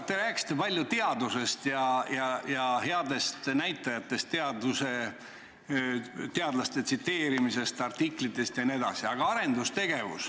Te rääkisite palju teadusest ja headest näitajatest, teadlaste tsiteerimisest, artiklitest jne.